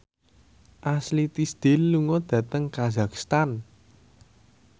Ashley Tisdale lunga dhateng kazakhstan